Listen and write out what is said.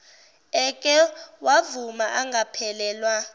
eke wavuma angaphelelwa